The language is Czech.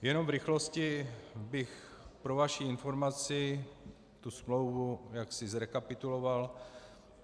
Jenom v rychlosti bych pro vaši informaci tu smlouvu jaksi zrekapituloval.